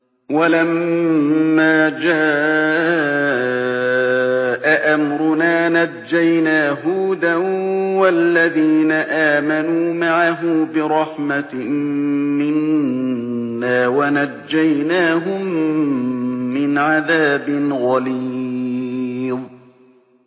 وَلَمَّا جَاءَ أَمْرُنَا نَجَّيْنَا هُودًا وَالَّذِينَ آمَنُوا مَعَهُ بِرَحْمَةٍ مِّنَّا وَنَجَّيْنَاهُم مِّنْ عَذَابٍ غَلِيظٍ